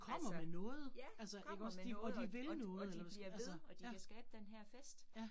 Altså. Ja, kommer med noget, og og og de bliver ved og de kan skabe denne her fest